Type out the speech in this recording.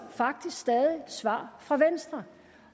faktisk stadig svar fra venstre